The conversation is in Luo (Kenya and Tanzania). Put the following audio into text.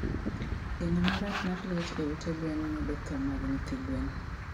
gengo marach mar liet e ute gwen medo thoo mag nyithi gwen